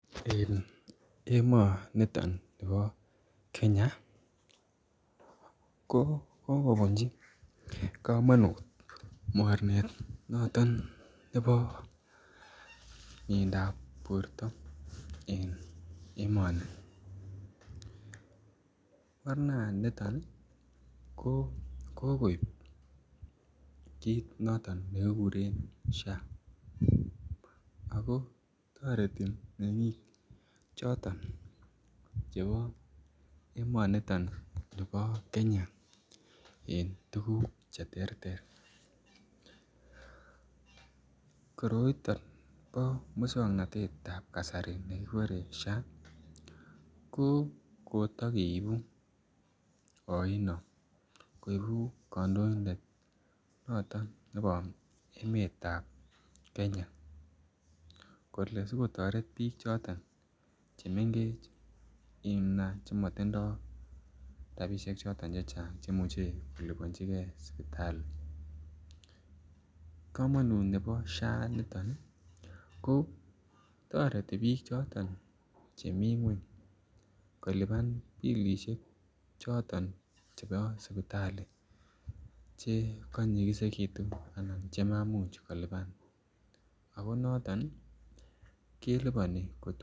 En emonito nibo kenya ko kokobunchi komonut mornet noton nebo miendap borto en emoni, morna niton ko kokoib kit noton nekikuren SHA ako toreti ako toreti mengik choton chebo emoniton nibo kenya en tukuk cheterter .Koroito bo muswoknotetab kasari nekibore SHA ko kotokeibu oino koibu kondoindet noton nebo emetab kenya kole sikotoret bik choton chemengechen nia chemotindo rabishek choton chechang cheimuche kolibonchigee sipitali. Komonut nebo SHA niton niii ko toreti bik choton chemii ngweny kolipan bilishek choton chebo sipitali chekonyikisekitun ana chemaimuch kolipan ako noton nii keliponi ko.